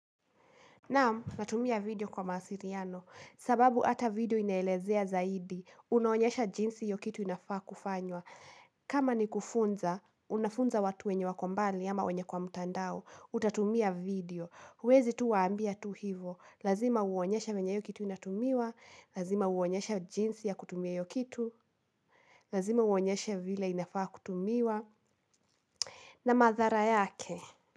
Naam natumia video kwa mawasiliano, sababu hata video inaelezea zaidi, unaonyesha jinsi hiyo kitu inafaa kufanywa. Kama ni kufunza, unafunza watu wenye wakombali ama wenye kwa mtandao, utatumia video. Huwezi tu waambia tu hivo, lazima uonyesha venye hiyo kitu inatumiwa, lazima uonyesha jinsi ya kutumia hiyo kitu, lazima uonyesha vile inafaa kutumiwa, na madhara yake.